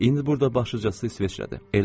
İndi burada başlıcası İsveçrədir.